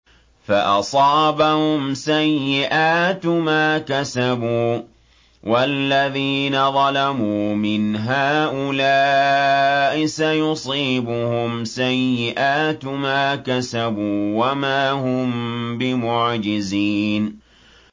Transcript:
فَأَصَابَهُمْ سَيِّئَاتُ مَا كَسَبُوا ۚ وَالَّذِينَ ظَلَمُوا مِنْ هَٰؤُلَاءِ سَيُصِيبُهُمْ سَيِّئَاتُ مَا كَسَبُوا وَمَا هُم بِمُعْجِزِينَ